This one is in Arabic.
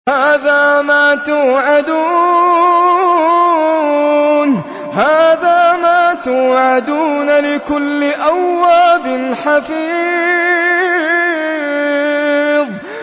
هَٰذَا مَا تُوعَدُونَ لِكُلِّ أَوَّابٍ حَفِيظٍ